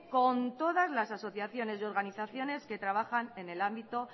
con todas las asociaciones y organizaciones que trabajan en el ámbito